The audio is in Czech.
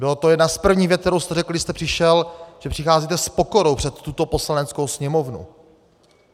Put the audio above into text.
Byla to jedna z prvních vět, kterou jste řekl, když jste přišel, že přicházíte s pokorou před tuto Poslaneckou sněmovnu.